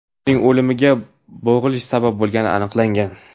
Uning o‘limiga bo‘g‘ilish sabab bo‘lgani aniqlangan.